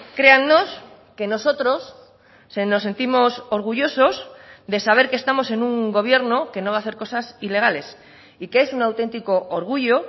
créannos que nosotros se nos sentimos orgullosos de saber que estamos en un gobierno que no va a hacer cosas ilegales y que es un auténtico orgullo